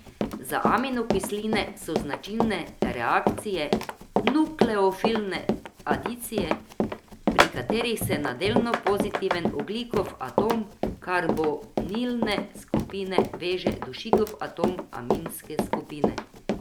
Za aminokisline so značilne reakcije nukleofilne adicije, pri katerih se na delno pozitiven ogljikov atom karbonilne skupine veže dušikov atom aminske skupine.